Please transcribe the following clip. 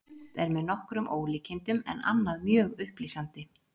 Sumt er með nokkrum ólíkindum en annað mjög upplýsandi.